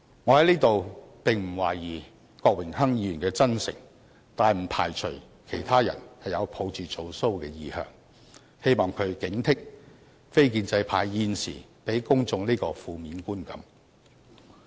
我在此並不懷疑郭議員的真誠，但不排除其他人是抱着"做騷"的意向，希望他警惕非建制派現正給予公眾這個負面觀感。